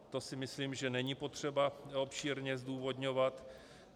To si myslím, že není potřeba obšírně zdůvodňovat.